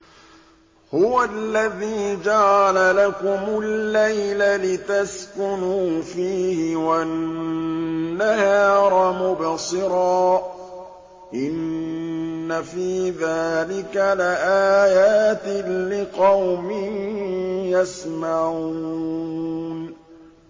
هُوَ الَّذِي جَعَلَ لَكُمُ اللَّيْلَ لِتَسْكُنُوا فِيهِ وَالنَّهَارَ مُبْصِرًا ۚ إِنَّ فِي ذَٰلِكَ لَآيَاتٍ لِّقَوْمٍ يَسْمَعُونَ